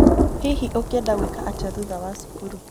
Hihi ũngĩenda gwĩka atĩa thũtha wa cũkũrũ?